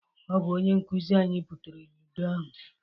Ọ bụ onye nkụzị anyị butere ludo ahụ.